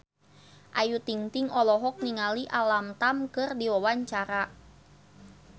Ayu Ting-ting olohok ningali Alam Tam keur diwawancara